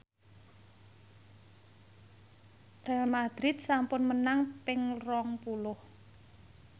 Real madrid sampun menang ping rong puluh